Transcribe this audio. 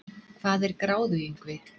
hvað er gráðuingvi